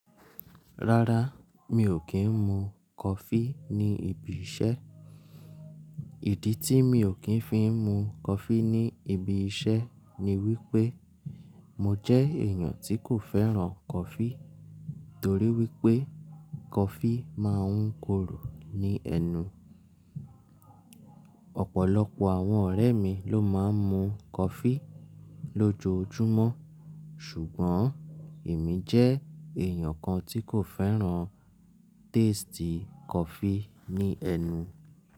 Rárá, mi ò kí ń mu kofi ní ibi iṣẹ́. Ìdí tí mi ò kí ń fi mu kọfi ní ibi iṣẹ́ ni wípé, mo jẹ́ èèyàn tí kò fẹ́ràn kọfi torí wípé kọfi má ń korò ní ẹnu. Ọ̀pọ̀lọpọ̀ àwọn ọ̀rẹ́ mi ló má ń mu kọfi lójoojúmọ́ ṣùgbọ́n èmi jẹ́ èèyàn kan tí kò fẹ́ràn tasti kọfi ní ẹnu.